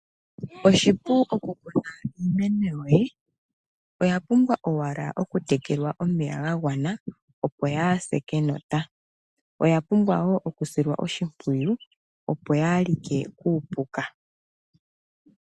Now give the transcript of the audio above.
Oshipu okukuna iimeno yoye, oya pumbwa ashike okutekelwa omeya ga gwana, opo yaa se kenota. Iimeno oya pumbwa woo okusilwa oshimpwiyu, opo yaa like kuupuka.